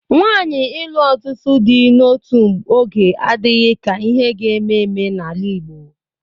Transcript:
Nwaanyi ịlụ ọtụtụ di n'otu oge adịghị ka ihe ga-eme eme n'ala Igbo.